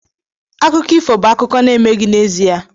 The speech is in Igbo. Akụkọ ifo bụ akụkọ na-emeghị n'ezie